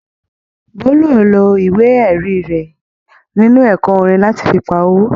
Bólú ò lo ìwé-ẹ̀rí rẹ̀ nínú ẹ̀kọ́ orin láti fi pa owó.